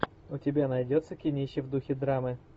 у тебя найдется кинище в духе драмы